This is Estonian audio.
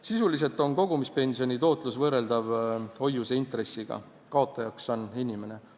Sisuliselt on kogumispensioni tootlus võrreldav hoiuseintressiga, kaotajaks on inimene.